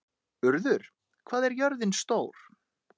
Urður, hvað er jörðin stór?